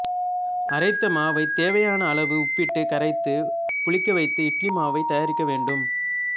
அரைத்த மாவை தேவையான அளவு உப்பிட்டு கரைத்து புளிக்கவைத்து இட்லி மாவு தயாரிக்க வேண்டும்